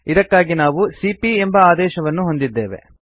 ಇದಕ್ಕಾಗಿ ನಾವು ಸಿಪಿಯ ಎಂಬ ಆದೇಶವನ್ನು ಹೊಂದಿದ್ದೇವೆ